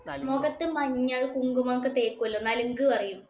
മൊഖത്ത് മഞ്ഞള്, കുങ്കുമം ഒക്കെ തേക്കൂലോ. നലുങ്ക് പറയും.